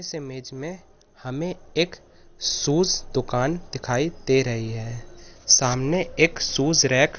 इस इमेज में हमें एक शूज दुकान दिखाई दे रही है सामने एक शूज रैक --